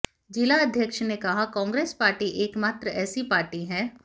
जिलाध्यक्ष ने कहा कांग्रेस पार्टी एकमात्र ऐसी पार्टी है